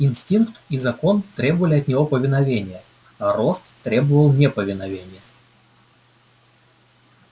инстинкт и закон требовали от него повиновения а рост требовал неповиновения